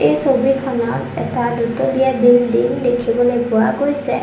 এই ছবিখনত এটা দোতলীয়া বিল্ডিং দেখিবলৈ পোৱা গৈছে।